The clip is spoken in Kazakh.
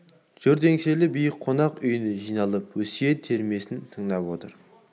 жұрт еңселі биік қонақ үйіне жиналып өсиет термесін тыңдап отыр